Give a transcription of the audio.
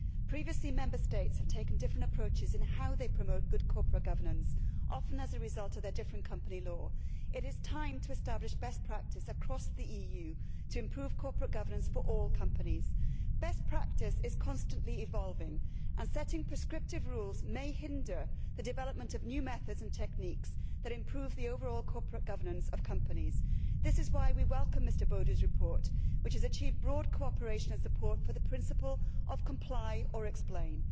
Previously Member States have taken different approaches in how they promote good corporate governance, often as a result of their different company law. It is time to establish best practice across the EU to improve corporate governance for all companies. Best practice is constantly evolving, and setting prescriptive rules may hinder the development of new methods and techniques that improve the overall corporate governance of companies. This is why we welcome Mr Bodu's report, which has achieved broad cooperation and support for the principle of comply or explain'.